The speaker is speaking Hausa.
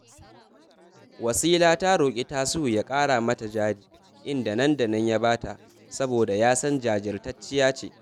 Wasila ta roƙi Tasi’u ya ƙara mata jari, inda nan da nan ya ba ta, saboda ya san jajirtacciya ce